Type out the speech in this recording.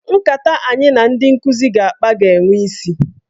Nkata anyị na ndị nkụzi ga-akpa ga-enwe isi.